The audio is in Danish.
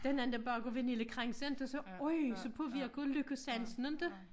Der en anden der bager vaniljekranse inte og så øj så påvirker lykkesansen inte?